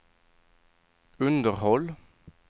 underhåll